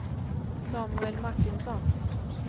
Samuel Martinsson